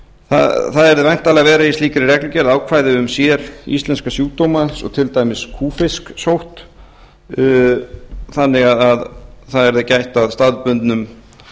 það yrðu væntanlega að vera í slíkri reglugerð ákvæði um séríslenska sjúkdóma eins og til dæmis kúfisksótt þannig að það yrði gætt að staðbundnum